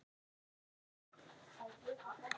Hvar finn ég það?